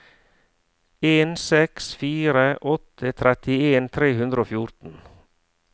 en seks fire åtte trettien tre hundre og fjorten